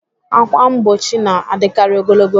Ákwà mgbochi na-adịkarị ogologo